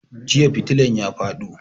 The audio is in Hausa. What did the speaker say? Jiya fitilan ya fado